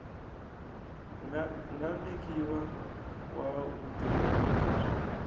nga vekiwa wa vutirheli lebyi